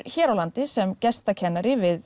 hér á landi sem gestakennari við